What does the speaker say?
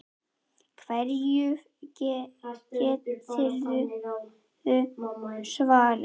Hverju geturðu svarað?